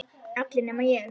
Allir nema ég.